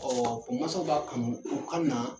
mansaw b'a kanu, u kannaa